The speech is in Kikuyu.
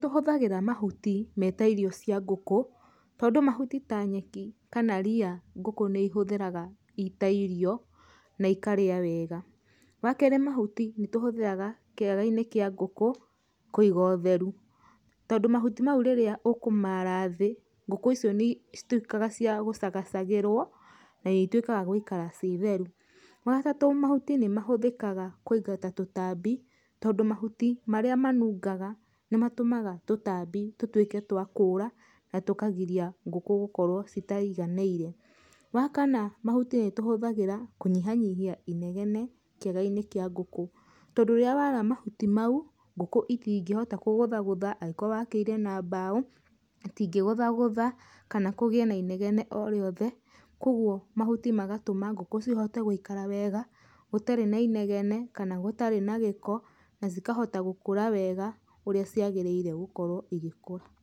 Tũhũthagĩra mahuti meta irio cia ngũkũ, tondũ mahuti ta nyeki kana ria ngũkũ nĩ ihũthĩraga ita irio na ikarĩa wega. Wakerĩ mahuti nĩtũhũthĩraga kĩaga-inĩ kĩa ngũkũ kũiga ũtheru tondũ mahuti mau rĩrĩa ũkũmara thĩ ngũkũ icio nĩ cituĩkaga cia gũcagacagĩrwo, na nĩ ituĩkaga gũikara ci theru. Wagatatũ mahuti nĩmahũthĩkaga kũingata tũtambi, tondũ mahuti marĩa manungaga nĩmatũmaga tũtambi tũtwĩke twa kũura, na tũkagiria ngũkũ gũkorwo citaiganĩire. Wakana mahuti nĩtũhũthagĩra kũnyihanyihia inegene kĩaga-inĩ kĩa ngũkũ, tondũ rĩrĩa wara mahuti mau, ngũkũ itingĩhota kũgũthagũtha, angĩkorwo wakĩire na mbaũ itingĩgũthagũtha kana kũgĩe na inegene o rĩothe kwogwo mahuti magatũma ngũkũ cihote gũikara wega gũtarĩ na inegene kana gũtarĩ na gĩko, na cikahota gũkũra wega ũrĩa ciagĩrĩire gũkorwo igĩkũra.